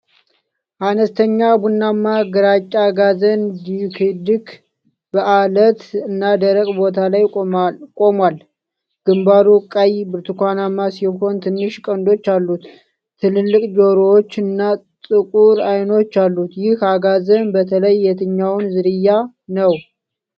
አነስተኛ ቡናማ-ግራጫ አጋዘን (ዲክዲክ) በዐለት እና ደረቅ ቦታ ላይ ቆሟል። ግምባሩ ቀይ/ብርቱካናማ ሲሆን ትንሽ ቀንዶች አሉት። ትላልቅ ጆሮዎች እና ጥቁር አይኖች አሉ። ይህ አጋዘን በተለይ የትኛው ዝርያ ነው?